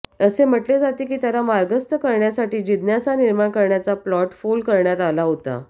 असे म्हटले जाते की त्याला मार्गस्थ करण्यासाठी जिज्ञासा निर्माण करण्याचा प्लॉट फोल करण्यात आला होता